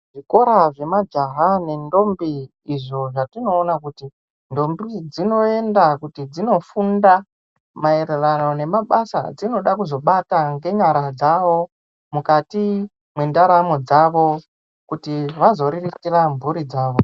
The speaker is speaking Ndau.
Zvikora zvemajaha nentombi izvo zvatinoona kuti ntombi dzinoenda kuti dzinofunda maererano nemabasa edzinoda kuzobata ngenyara dzavo mukati mendaramo dzavo kuti vazoriritira mburi dzavo.